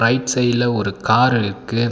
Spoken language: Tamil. ரைட் சைட்ல ஒரு கார் இருக்கு.